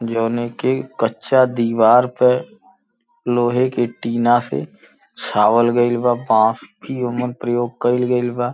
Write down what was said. जोनेके कच्चा दीवार पे लोहे की टीना से छावल गईल बा बास की ओमे प्रयोग कइल गईल बा।